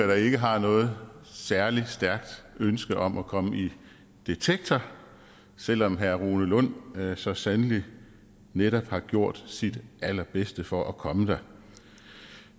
der ikke har noget særlig stærkt ønske om at komme i detektor selv om herre rune lund så sandelig netop har gjort sit allerbedste for at komme der